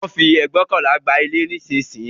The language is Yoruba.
Wón ń fi ẹgbóokànlá gba ilé nísìnyí